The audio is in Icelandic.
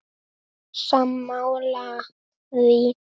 Sammála því?